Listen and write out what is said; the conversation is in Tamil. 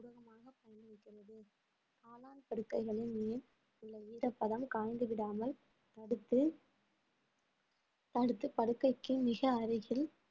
படுக்கைகளின் மேல் உள்ள ஈரப்பதம் கலந்துவிடாமல் அடுத்து அடுத்து படுக்கைக்கு மிக அருகில்